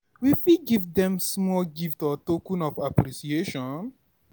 We fit give dem small gift or token of appreciation